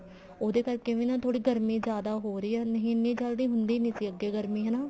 ਉਹਦੇ ਕਰਕੇ ਵੀ ਨਾ ਗਰਮੀ ਥੋੜੀ ਜਿਆਦਾ ਹੋ ਰਹੀ ਹੈ ਨਹੀਂ ਇੰਨੀ ਜਲਦੀ ਹੁੰਦੀ ਨੀ ਸੀ ਅੱਗੇ ਗਰਮੀ ਹਨਾ